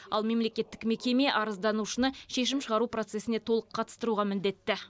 ал мемлекеттік мекеме арызданушыны шешім шығару процесіне толық қатыстыруға міндетті